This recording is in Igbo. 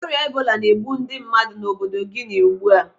Ọrịa ebola na-egbu ndị mmadụ n'obodo Guinea ugbu a.